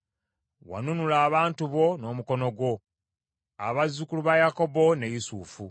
Wanunula abantu bo n’omukono gwo, abazzukulu ba Yakobo ne Yusufu.